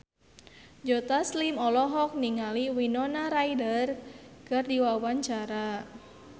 Joe Taslim olohok ningali Winona Ryder keur diwawancara